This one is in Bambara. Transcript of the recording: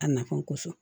A nafan kosɔn